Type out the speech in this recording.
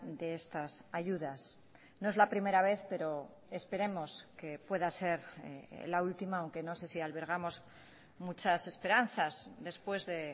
de estas ayudas no es la primera vez pero esperemos que pueda ser la última aunque no sé si albergamos muchas esperanzas después de